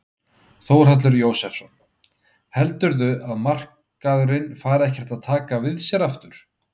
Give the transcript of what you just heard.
Þórhallur Jósefsson: Heldurðu að markaðurinn fari ekkert að taka við sér aftur?